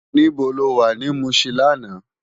Nibó ló wá ni Mushin làná?